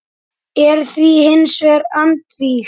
er því hins vegar andvíg.